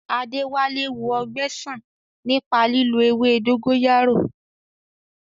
Adéwálé wo ọgbẹ́ sàn nípa lílo ewé dógóyárò